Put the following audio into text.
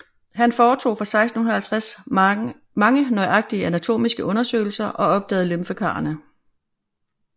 Han foretog fra 1650 mange nøjagtige anatomiske undersøgelser og opdagede lymfekarrene